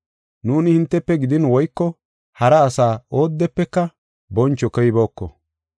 Nuuni hintefe gidin woyko hara asa oodefeka boncho koyibooko.